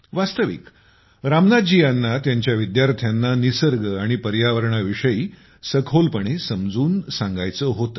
वास्तविक रामनाथजी यांना त्यांच्या विद्यार्थ्यांना निसर्ग आणि पर्यावरणाविषयी सखोलपणे समजावून सांगायचे होते